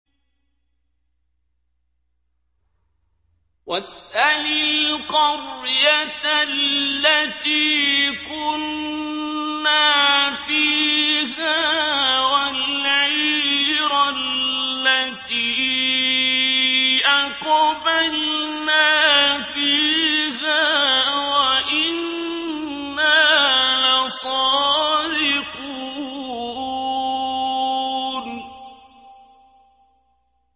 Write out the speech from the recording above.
وَاسْأَلِ الْقَرْيَةَ الَّتِي كُنَّا فِيهَا وَالْعِيرَ الَّتِي أَقْبَلْنَا فِيهَا ۖ وَإِنَّا لَصَادِقُونَ